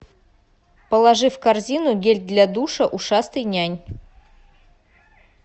положи в корзину гель для душа ушастый нянь